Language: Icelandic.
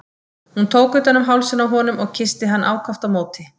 Hún tók utan um hálsinn á honum og kyssti hann ákaft á móti.